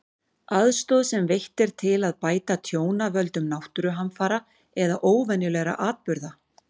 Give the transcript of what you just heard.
Aðstoð sem veitt er til að bæta tjón af völdum náttúruhamfara eða óvenjulegra atburða.